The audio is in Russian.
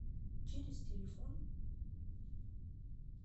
через телефон